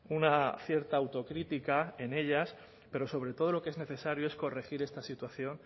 una cierta autocrítica en ellas pero sobre todo lo que es necesario es corregir esta situación